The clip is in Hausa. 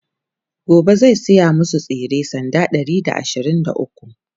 gobe zai saya masu tsire sanda Ɗari da ashirin da ukwu